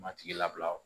Matigi labila